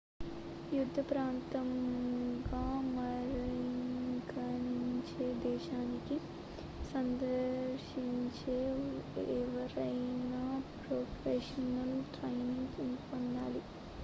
యుద్ధ ప్రాంతంగా పరిగణించే దేశానికి సందర్శించే ఎవరైనా ప్రొఫెషనల్ ట్రైనింగ్ పొందాలి